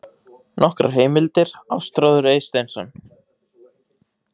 Nokkrar heimildir: Ástráður Eysteinsson.